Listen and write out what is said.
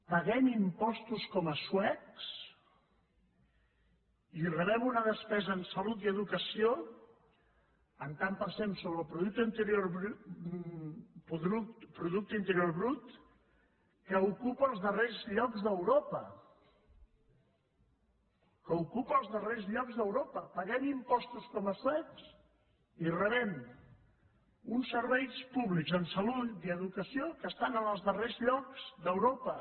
paguem impostos com a suecs i rebem una despesa en salut i educació en tant per cent sobre el producte interior brut que ocupa els darrers llocs d’europa que ocupa els darrers llocs d’europa paguem impostos com a suecs i rebem uns serveis públics en salut i educació que estan en els darrers llocs d’europa